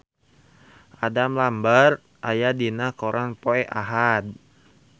Adam Lambert aya dina koran poe Ahad